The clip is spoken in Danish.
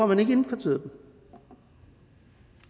man ikke indkvarteret dem